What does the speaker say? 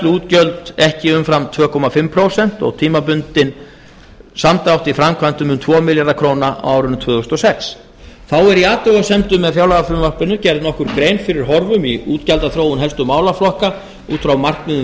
tilfærsluútgjöld ekki umfram tvö og hálft prósent og tímabundinn samdráttur í framkvæmdum um tvo milljarða króna á árinu tvö þúsund og sex þá er í athugasemdum með fjárlagafrumvarpinu gerð nokkur grein fyrir horfum í útgjaldaþróun helstu málaflokka út frá markmiðum